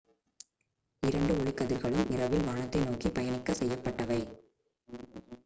இரண்டு ஒளிக்கதிர்களும் இரவில் வானத்தை நோக்கி பயணிக்கச் செய்யப்பட்டவை